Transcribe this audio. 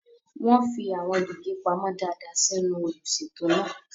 Wọ́n fi àwọn gègé pamọ́ dáadáa sínú olùṣètò náà.